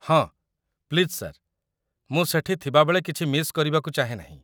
ହଁ, please sir, ମୁଁ ସେଠି ଥିବାବେଳେ କିଛି ମିସ୍ କରିବାକୁ ଚାହେଁ ନାହିଁ ।